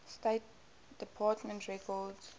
state department records